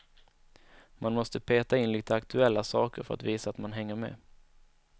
Man måste peta in lite aktuella saker för att visa att man hänger med.